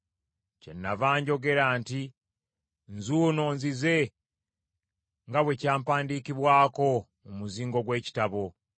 Kyenava njogera nti, “Nzuuno, nzize nga bwe kyampandiikibwako mu muzingo gw’ekitabo.”